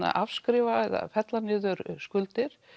afskrifa eða fella niður skuldir